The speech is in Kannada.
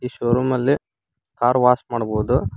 ಸ್ಟೋರ್ ರೂಮ್ ಅಲ್ಲೆ ಕಾರ್ ವಾಶ್ ಮಾಡ್ಬೋದು.